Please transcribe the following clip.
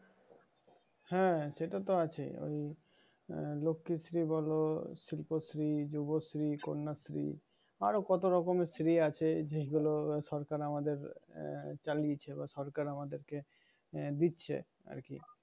হ্যাঁ এখন তো আছেই ঐ লক্ষ্মীশ্রী বল দেবশ্রী শুভশ্রী কন্যাশ্রী আরো কত রকমের শ্রী আছে যেয়গুল সরকাম আমাদের আহ যালি দিচ্ছে বা সরকার আমাদের কে আহ দিচ্ছে আরকি।